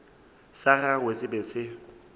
sa gagwe se be se